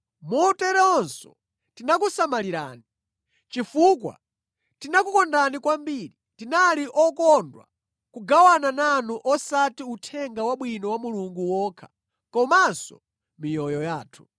moteronso tinakusamalirani. Chifukwa tinakukondani kwambiri, tinali okondwa kugawana nanu osati Uthenga Wabwino wa Mulungu wokha, komanso miyoyo yathu.